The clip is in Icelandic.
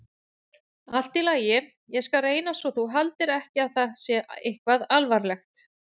Allt í lagi, ég skal reyna svo þú haldir ekki að það sé eitthvað alvarlegt.